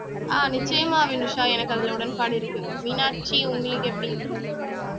ஆஹ் நிச்சயமா வினிஷா எனக்கு அதுல உடன்பாடு இருக்கு மீனாட்சி உங்களுக்கு எப்படி